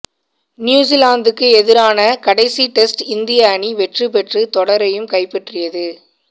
நியூசிலாந்துக்கு எதிரான கடைசி டெஸ்ட் இந்திய அணி வெற்றி பெற்று தொடரையும் கைப்பற்றியது